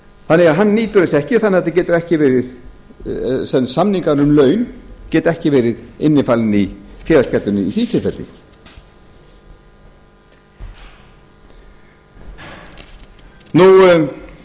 þannig að hann nýtur þess ekki þannig að þetta getur ekki verið sem samningar um laun geta ekki verið innifalið í félagsgjaldinu í því tilfelli